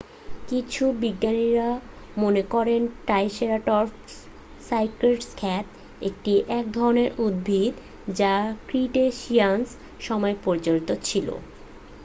কিছু বিজ্ঞানী মনে করেন ট্রাইসেরাটপস সাইক্যাড খেত এটি এক ধরণের উদ্ভিদ যা ক্রিটেসিয়াস সময়ে প্রচলিত ছিল